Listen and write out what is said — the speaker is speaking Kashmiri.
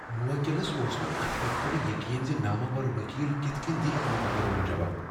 موکلس اوس نہٕ اتھ کتھہٕ پیٹھ یقین ز نامور وکیل کتھ کٔنۍ دِیہٕ امہ مقدمک جواب۔